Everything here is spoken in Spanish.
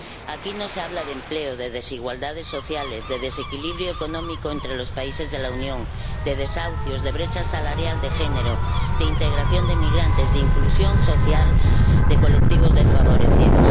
Aquí no se habla de empleo, de desigualdades sociales, de desequilibrio económico entre los países de la Unión, de desahucios, de brecha salarial de género, de integración de inmigrantes, de inclusión social, de colectivos desfavorecidos.